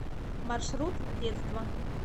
маршрут детство